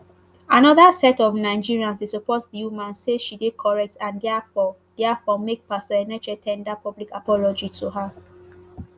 anoda set of nigerians dey support di woman say she dey correct and diafore diafore make pastor enenche ten der public apology to her